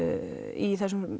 í þessum